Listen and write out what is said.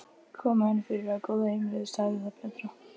Kom henni fyrir á góðu heimili, sagði það betra.